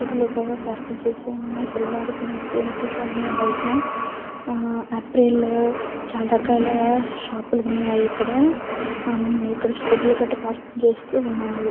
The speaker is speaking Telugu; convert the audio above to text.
స్కూటీలు పార్క్ చేసి ఉన్నాయి. పిల్లలు ఆడుకునే వస్తువులు ఉన్నాయ్. బయటన ఆపిల్ చాలా రకాల షాప్ లు ఉన్నాయ్. ఇక్కడ స్కూటీలు కూడా పార్కింగ్ చేసి ఉన్నాయి.